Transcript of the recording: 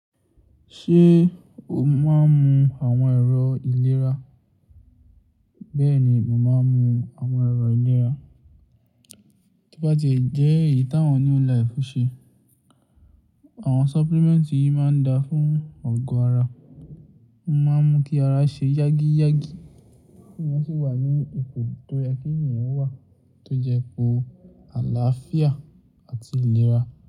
Ṣé o máa ń mu àwọn ẹ̀rọ ìlera? Bẹ́ẹ̀ni, mo máa ń mu àwọn ẹ̀rọ ìlera. Bí bá ti jẹ́ èyí táwọn New Life ń ṣe. Àwọn supplement yìí máa ń da fún Àgó ara. Wọ́n máa ń mú kí ara ṣe yágíyágí kí èèyàn sì wà ní ipò tó yẹ kí èèyàn wà tó jẹ ipò àlàáfíà àti ìlera.